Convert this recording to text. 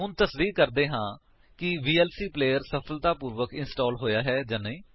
ਹੁਣ ਤਸਦੀਕੀ ਕਰਦੇ ਹਾਂ ਕਿ ਵੀਐਲਸੀ ਪਲੇਅਰ ਸਫਲਤਾਪੂਰਵਕ ਇੰਸਟਾਲ ਹੋਇਆ ਹੈ ਕਿ ਨਹੀਂ